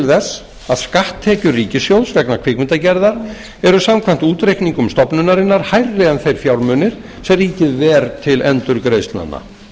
þess að skatttekjur ríkissjóðs vegna kvikmyndagerðar eru samkvæmt útreikningum stofnunarinnar hærri en þeir fjármunir sem ríkið ver til endurgreiðslnanna